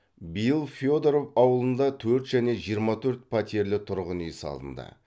биыл федоров ауылында төрт және жиырма төрт пәтерлі тұрғын үй салынды